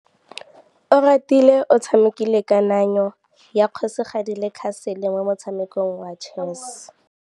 Oratile o tshamekile kananyô ya kgosigadi le khasêlê mo motshamekong wa chess.